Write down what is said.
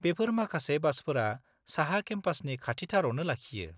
बेफोर माखासे बासफोरा साहा केम्पासनि खाथिथारावनो लाखियो।